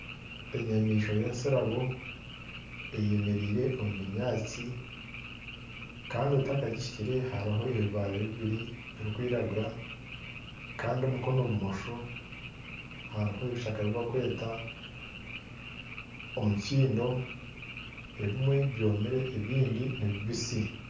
Enyamaishwa y'entsirabo eyemeriire omu binyatsi kandi otakagihikire hariho ebibaare bibiri birikwiragura kandi omukono bumosho hariho ebishaka ebi barikweta emikiindo ebimwe byomire kandi ebindi nibibisi